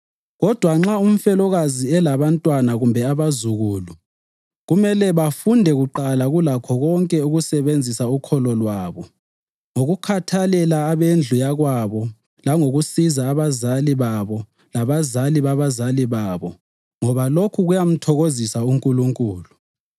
Kodwa nxa umfelokazi elabantwana kumbe abazukulu, kumele bafunde kuqala kulakho konke ukusebenzisa ukholo lwabo ngokukhathalela abendlu yakwabo langokusiza abazali babo labazali babazali babo ngoba lokhu kuyamthokozisa uNkulunkulu.